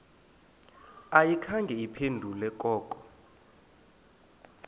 ayikhange iphendule koko